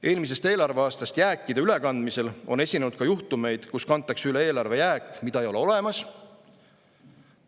Eelmisest eelarveaastast jääkide ülekandmisel on esinenud ka juhtumeid, kus kantakse üle eelarve jääk, mida ei ole olemas.